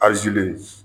Ajeli